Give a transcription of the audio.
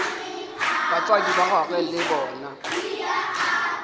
batswadi ba gagwe le bona